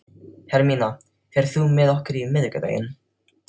Hermína, ferð þú með okkur á miðvikudaginn?